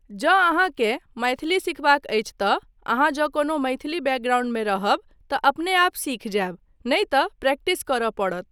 जँ अहाँकेँ मैथिली सिखबाक अछि तँ अहाँ जँ कोनो मैथिली बैकग्राउण्ड मे रहब तँ अपनेआप सीख जायब नहि तँ प्रैक्टिस करय पड़त।